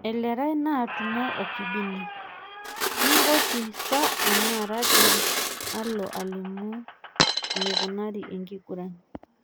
Elerai naatumo o Kibini, ke Ngoti sa enaa Raria olo alimu enikunari enking'uran.